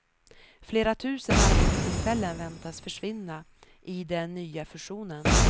Flera tusen arbetstillfällen väntas försvinna i den nya fusionen.